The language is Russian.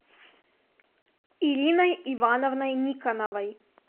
ириной ивановной никоновой